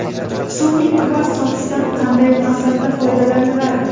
Sun’iy kvars toshidan qanday maqsadda foydalaniladi?